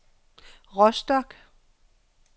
Rostock